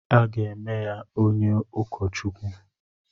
Aga eme ya onye ụkọ Chukwu.